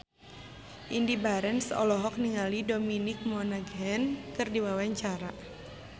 Indy Barens olohok ningali Dominic Monaghan keur diwawancara